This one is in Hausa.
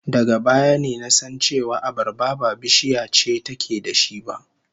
Daga baya ne na san cewa abarba ba bishiya ce take da shi ba